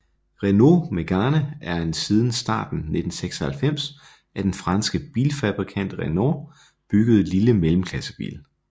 Renault Mégane er en siden starten af 1996 af den franske bilfabrikant Renault bygget lille mellemklassebil